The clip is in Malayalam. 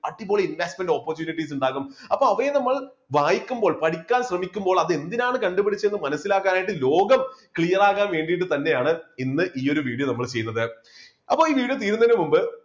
അടിപൊളി investment opportunities ഉണ്ടാവും അപ്പോ അവയെ നമ്മൾ വായിക്കുമ്പോൾ പഠിക്കാൻ ശ്രമിക്കുമ്പോൾ അതെന്തിനാണ് കണ്ടുപിടിച്ചത് എന്ന് മനസ്സിലാക്കാൻ ആയിട്ട് ലോകം clear ആകാൻ വേണ്ടിയിട്ട് തന്നെയാണ് ഇന്ന് ഈ ഒരു video നമ്മൾ ചെയ്യുന്നത്. അപ്പോ ഈ video തീരുന്നതിനു മുമ്പ്